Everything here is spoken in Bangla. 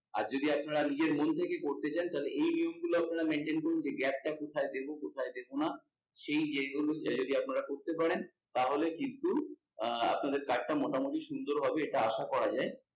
আর যদি আপনারা নিজের মন থেকে করতে চান তাহলে এই জিনিস গুলো আপনারা mainatin করুন যে gap টা কোথায় দেব কোথায় দেবো না, সেই জিনিসগুলো যদি আপনারা করতে পারেন তাহলে কিন্তু আহ আপনাদের card টা মোটামুটি সুন্দর হবেএটা আশা করা যায় আহ